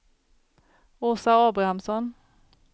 Åsa Abrahamsson